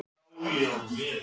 Telma: En hvað tekur núna við?